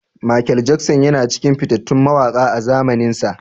Mikel Jackson yana cikin fitattun mawaƙa a zamaninsa.